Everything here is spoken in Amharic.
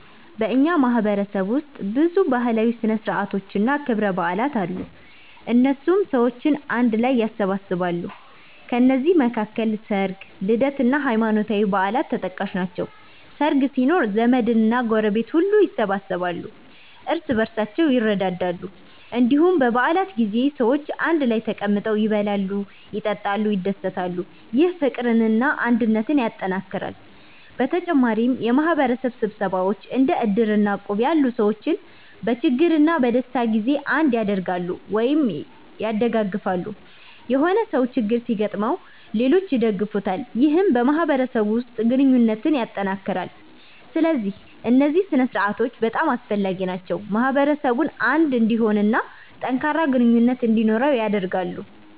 በእኛ ማህበረሰብ ውስጥ ብዙ ባህላዊ ሥነ ሥርዓቶችና ክብረ በዓላት አሉ፣ እነሱም ሰዎችን አንድ ላይ ያሰባስባሉ። ከነዚህ መካከል ሰርግ፣ ልደት እና ሃይማኖታዊ በዓላት ተጠቃሽ ናቸው። ሰርግ ሲኖር ዘመድና ጎረቤት ሁሉ ይሰበሰባሉ፣ እርስ በርሳቸውም ይረዳዳሉ። እንዲሁም በ በዓላት ጊዜ ሰዎች አንድ ላይ ተቀምጠው ይበላሉ፣ ይጠጣሉ፣ ይደሰታሉ። ይህ ፍቅርና አንድነትን ያጠናክራል። በተጨማሪም የማህበረሰብ ስብሰባዎች እንደ እድር እና እቁብ ያሉ ሰዎችን በችግርና በደስታ ጊዜ አንድ ያደርጋሉ(ያደጋግፋሉ)።የሆነ ሰው ችግር ሲገጥመው ሌሎች ይደግፉታል ይህም በማህበረሰቡ ውስጥ ግንኙነትን ያጠናክራል። ስለዚህ እነዚህ ሥነ ሥርዓቶች በጣም አስፈላጊ ናቸው፣ ማህበረሰቡን አንድ እንዲሆን እና ጠንካራ ግንኙነት እንዲኖረው ያደርጋሉ።